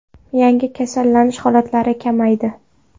Yangi kasallanish holatlari kamaydi.